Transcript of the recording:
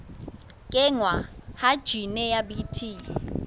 kenngwa ha jine ya bt